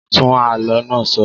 Tún àló náà sọ.